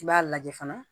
I b'a lajɛ fana